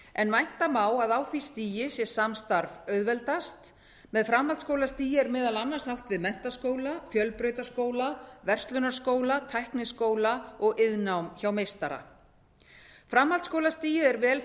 en vænta má að á því stigi sé samstarf auðveldast með framhaldsskólastigi er meðal annars átt við menntaskóla fjölbrautaskóla verslunarskóla tækniskóla og iðnnám hjá meistara framhaldsskólastigið er vel